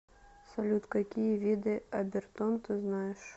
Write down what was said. салют какие виды обертон ты знаешь